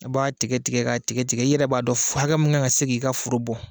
I b'a tɛgɛ tigɛ k'a tigɛtigɛo i yɛrɛ b'a dɔn hakɛ kan ka k'i ka foro bɔ